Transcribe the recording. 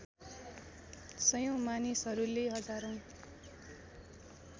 सयौँ मानिसहरूले हजारौँ